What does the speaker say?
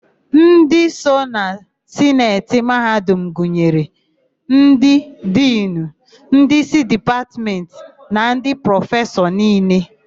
Ndị so na Sineti mahadum gụnyere: Ndị Dinu, Ndị isi Dipatmentị na ndị prọfesọ niile.